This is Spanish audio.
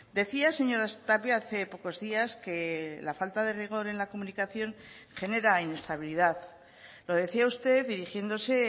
decía señora tapia hace pocos días que la falta de rigor en la comunicación genera inestabilidad lo decía usted dirigiéndose